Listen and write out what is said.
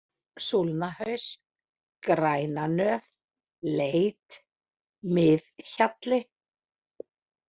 Súlnahaus, Grænanöf, Leit, Mið-Hjalli